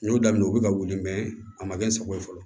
N y'o daminɛ u bi ka wuli a ma kɛ n sago ye fɔlɔ